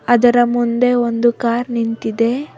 ಅದರ ಮುಂದೆ ಒಂದು ಕಾರ್ ನಿಂತಿದೆ.